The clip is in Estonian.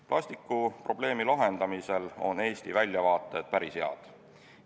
Plastikuprobleemi lahendamisel on Eesti väljavaated päris head.